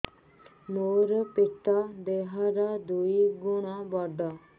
ମୋର ପେଟ ଦେହ ର ଦୁଇ ଗୁଣ ବଡ